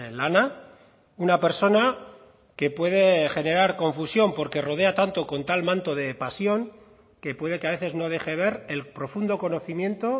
lana una persona que puede generar confusión porque rodea tanto con tal manto de pasión que puede que a veces no deje ver el profundo conocimiento